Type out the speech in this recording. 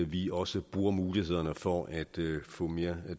vi også bruger mulighederne for at få mere